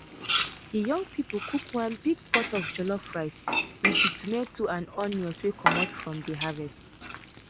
de young people cook one big pot of jollof rice with de tomatoes and onions wey comot from de harvest.